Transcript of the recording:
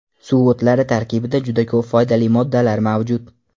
Suv o‘tlari tarkibida juda ko‘p foydali moddalar mavjud.